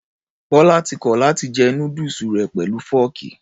Bọlá ti kọ̀ láti jẹ núdùsù rẹ̀ pẹ̀lú fọ́ọ̀kì.